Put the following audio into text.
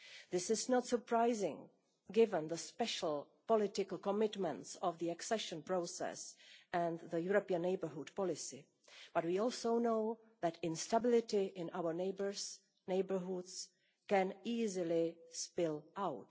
This is not surprising, given the special political commitments of the accession process and the European Neighbourhood Policy, but we also know that instability in our neighbourhoods can easily spill